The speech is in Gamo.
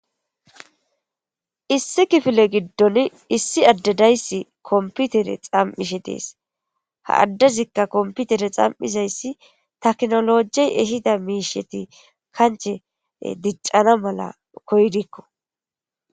issi kifile giddon issi addedayssi komputere xam7ishe dees ha addezikka komputere xam7izayssi taknolojey ehida miisheti kanche diccana mala koydikko